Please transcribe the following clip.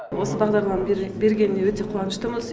осы бағдарламаны бергеніне өте қуаныштымыз